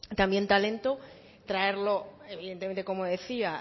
start up sino de traer también talento traerlo evidentemente como decía